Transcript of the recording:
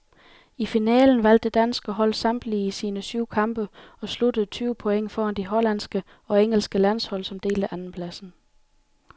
I finalen vandt det danske hold samtlige sine syv kampe og sluttede tyve point foran de hollandske og engelske landshold, som delte andenpladsen.